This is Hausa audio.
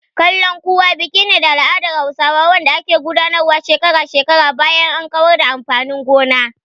"Kalankuwa" biki ne na al'adar Hausawa wanda ake gudanarwa shekara-shekara bayan an kawar da amfanin gona.